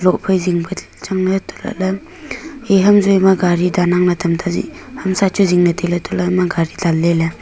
lok phai zingpa changley hatohlak ley eham joi ma gari dangann tamta hamsa chu zingley tailey hatohlakley hama gari dangley.